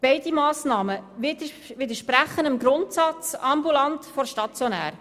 Beide Massnahmen widersprechen dem Grundsatz «ambulant vor stationär».